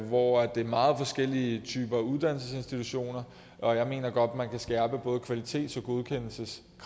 hvor det er meget forskellige typer uddannelsesinstitutioner og jeg mener godt man kan skærpe både kvalitets